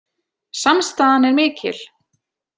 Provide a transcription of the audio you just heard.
Samstaðan er mikil